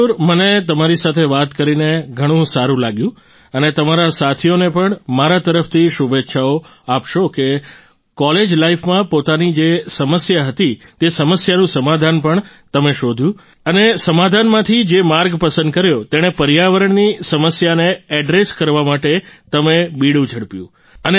મયૂર મને તમારી સાથે વાત કરીને ઘણું સારું લાગ્યું અને તમારા સાથીઓને પણ મારા તરફથી શુભેચ્છાઓ આપશો કે કોલેજ લાઈફમાં પોતાની જે સમસ્યા હતી તે સમસ્યાનું સમાધાન પણ તમે શોધ્યું અને તે સમાધાનમાંથી જે માર્ગ પસંદ કર્યો તેણે પર્યાવરણની સમસ્યાને એડ્રેસ કરવા માટે તમે બીડું ઝડપ્યું